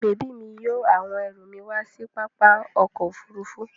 Bèbí mi yóò àwọn ẹrù mi wá sí pápá ọkọ̀-òfurufú.